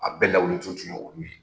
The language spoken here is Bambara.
A bɛɛ lawili ju tun y'olu ye.